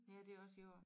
Ja det også jord